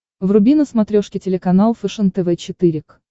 вруби на смотрешке телеканал фэшен тв четыре к